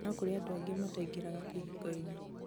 no kũrĩ andũ angĩ mataingĩraga kĩhikoinĩ